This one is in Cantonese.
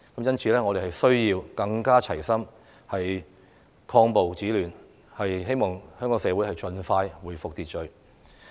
因此，我們需要更加齊心，抗暴止亂，希望香港社會盡快恢復秩序。